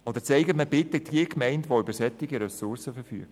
Sonst zeigen Sie mir bitte die Gemeinde, die über solche Ressourcen verfügt.